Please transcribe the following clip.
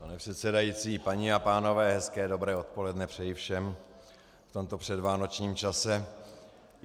Pane předsedající, paní a pánové, hezké dobré odpoledne přeji všem v tomto předvánočním čase.